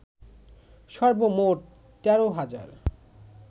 সর্বমোট ১৩ হাজার